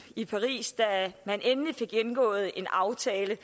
i paris da man endelig fik indgået en aftale